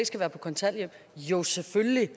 skal være på kontanthjælp jo selvfølgelig